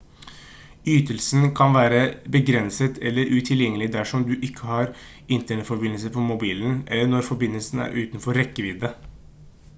ytelsen kan være begrenset eller utilgjengelig dersom du ikke har internettforbindelse på mobilen eller når forbindelsen er utenfor rekkevidde